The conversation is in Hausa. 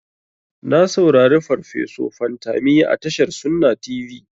Na saurari farfeso Fantami a tashar sunna tv.